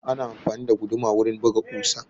Ana amfani da guduma wurin buga ƙusa.